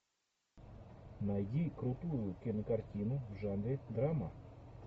найди крутую кинокартину в жанре драма